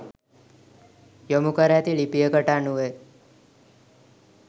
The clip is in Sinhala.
යොමු කර ඇති ලිපියකට අනුවය.